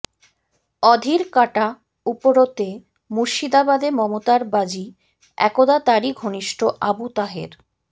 অধীর কাঁটা উপড়োতে মুর্শিদাবাদে মমতার বাজি একদা তারই ঘনিষ্ট আবু তাহের